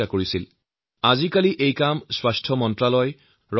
স্বাস্থ্যৰ সৈতে জড়িত সকলো কাম আগতে স্বাস্থ্য মন্ত্ৰালয়ৰ দায়িত্বত আছিল